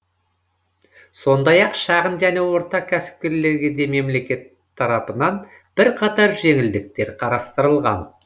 сондай ақ шағын және орта кәсіпкерлерге де мемлекет тарапынан бірқатар жеңілдіктер қарастырылған